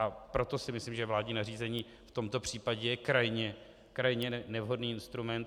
A proto si myslím, že vládní nařízení v tomto případě je krajně nevhodný instrument.